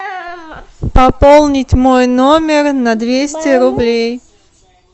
пополнить мой номер на двести рублей